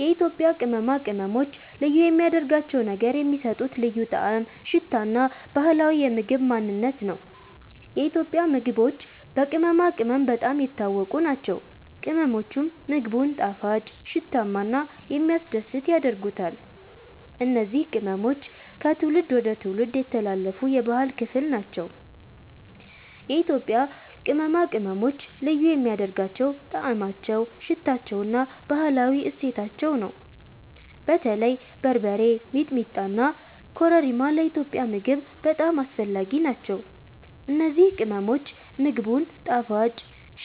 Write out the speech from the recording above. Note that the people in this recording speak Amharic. የኢትዮጵያ ቅመማ ቅመሞች ልዩ የሚያደርጋቸው ነገር የሚሰጡት ልዩ ጣዕም፣ ሽታ እና ባህላዊ የምግብ ማንነት ነው። የኢትዮጵያ ምግቦች በቅመማ ቅመም በጣም የታወቁ ናቸው፤ ቅመሞቹም ምግቡን ጣፋጭ፣ ሽታማ እና የሚያስደስት ያደርጉታል። እነዚህ ቅመሞች ከትውልድ ወደ ትውልድ የተላለፉ የባህል ክፍል ናቸው። የኢትዮጵያ ቅመማ ቅመሞች ልዩ የሚያደርጋቸው ጣዕማቸው፣ ሽታቸው እና ባህላዊ እሴታቸው ነው። በተለይ በርበሬ፣ ሚጥሚጣ እና ኮረሪማ ለኢትዮጵያዊ ምግብ በጣም አስፈላጊ ናቸው። እነዚህ ቅመሞች ምግቡን ጣፋጭ፣